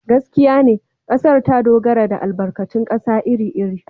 Gaskiya ne, kasar ta dogara ne da albarkatun kasa iri-iri.